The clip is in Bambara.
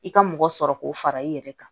I ka mɔgɔ sɔrɔ k'o fara i yɛrɛ kan